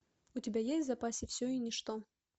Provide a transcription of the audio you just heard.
у тебя есть в запасе все и ничто